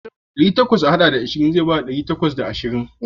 Ɗari takwas a haɗa da ashirin zai bada ɗari takwas da ashirin.